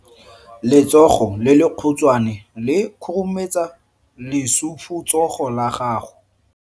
Letsogo le lekhutshwane le khurumetsa lesufutsogo la gago.